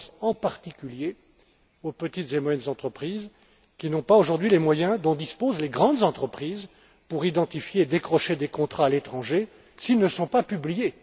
Je pense en particulier aux petites et moyennes entreprises qui n'ont pas, aujourd'hui, les moyens dont disposent les grandes entreprises pour identifier et décrocher des contrats à l'étranger, s'ils ne sont pas publiés.